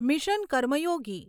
mission Karmayogi